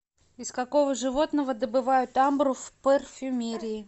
из какого животного добывают амбру в парфюмерии